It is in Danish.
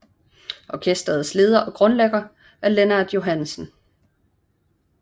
Orkestrets leder og grundlægger er Lennart Johannesen